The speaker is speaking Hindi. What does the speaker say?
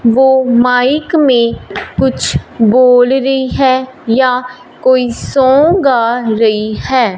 वो माइक में कुछ बोल रही है या कोई सॉन्ग गा रही है।